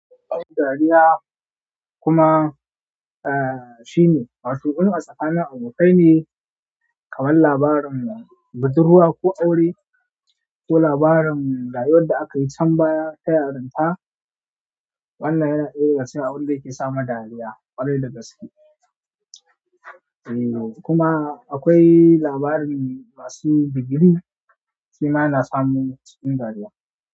Akwai dariya kuma, eh, shine, masu gudu a tsakanin abokai ne, kaman labarin bauduruwa ko aure, ko labarin rayuwar da akayi can baya ta yarinta. Wannan yana iya rashin abun da yake samun dariya ƙwarai da gaske. Ehn kuma akwai labarin masu degree shima yana sa mun cikin dariya.